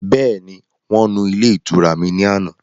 Bẹ́ẹ̀ni, Wọ́n nu ilé ìtura mi ni àná